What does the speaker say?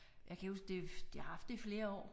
Jeg kan ikke huske det de har haft det i flere år